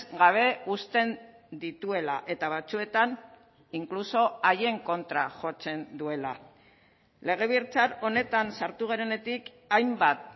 gabe uzten dituela eta batzuetan incluso haien kontra jotzen duela legebiltzar honetan sartu garenetik hainbat